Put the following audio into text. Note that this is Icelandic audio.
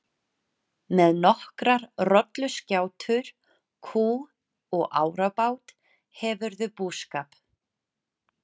Með nokkrar rolluskjátur, kú og árabát hefurðu búskap.